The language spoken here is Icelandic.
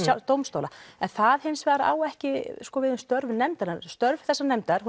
dómstóla en það hins vegar á ekki við um störf nefndarinnar störf þessarar nefndar